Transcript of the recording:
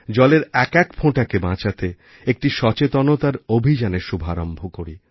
জলের একএক ফোঁটাকে বাঁচাতে একটি সচেতনতার অভিযানের শুভারম্ভ করি